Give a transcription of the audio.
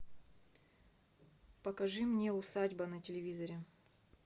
покажи мне усадьба на телевизоре